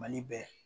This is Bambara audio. Mali bɛ